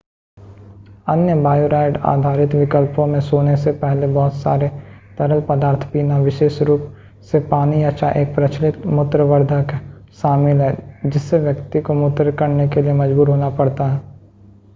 अन्य बायोरैड-आधारित विकल्पों में सोने से पहले बहुत सारे तरल पदार्थ पीना विशेष रूप से पानी या चाय एक प्रचलित मूत्रवर्धक शामिल है जिससे व्यक्ति को मूत्र करने के लिए मजबूर होना पड़ता है